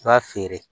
I b'a feere